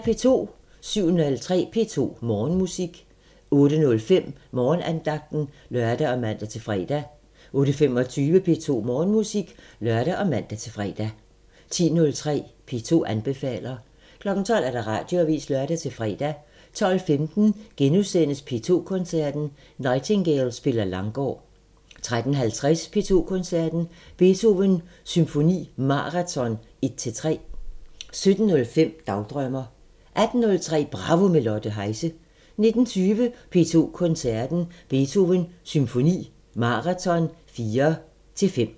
07:03: P2 Morgenmusik 08:05: Morgenandagten (lør og man-fre) 08:25: P2 Morgenmusik (lør og man-fre) 10:03: P2 anbefaler 12:00: Radioavisen (lør-fre) 12:15: P2 Koncerten – Nightingale spiller Langgaard * 13:50: P2 Koncerten – Beethoven Symfoni Maraton 1-3 17:05: Dagdrømmer 18:03: Bravo – med Lotte Heise 19:20: P2 Koncerten – Beethoven Symfoni Maraton 4-5